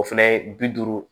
O fɛnɛ bi duuru